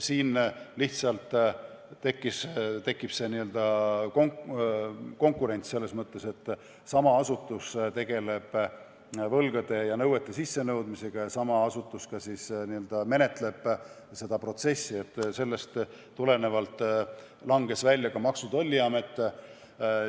Siin tekib aga lihtsalt n-ö konkurents selles mõttes, et sama asutus tegeleb võlgade ja nõuete sissenõudmisega ja sama asutus ka siis menetleb seda protsessi, seetõttu langes Maksu- ja Tolliamet välja.